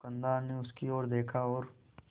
दुकानदार ने उसकी ओर देखा और